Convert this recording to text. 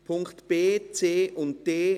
Punkte b, c und d: